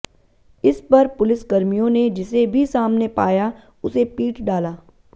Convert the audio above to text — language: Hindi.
इस पर पुलिसकर्मियों ने जिसे भी सामने पाया उसे पीट डाला